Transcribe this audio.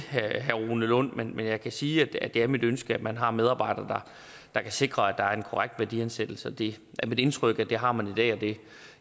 herre rune lund men jeg kan sige at det er mit ønske at man har medarbejdere der kan sikre at der er en korrekt værdiansættelse og det er mit indtryk at det har man i dag i